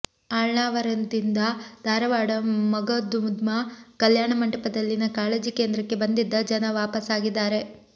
ಅಳ್ನಾವರದಿಂದ ಧಾರವಾಡ ಮಗದುಮ ಕಲ್ಯಾಣಮಂಟಪದಲ್ಲಿನ ಕಾಳಜಿ ಕೇಂದ್ರಕ್ಕೆ ಬಂದಿದ್ದ ಜನ ವಾಪಸ್ ಆಗಿದ್ದಾರೆ